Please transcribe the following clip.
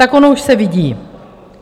Tak ono už se vidí.